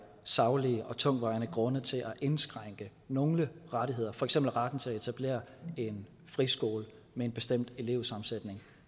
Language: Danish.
saglige og tungtvejende grunde til at indskrænke nogle rettigheder for eksempel retten til at etablere en friskole med en bestemt elevsammensætning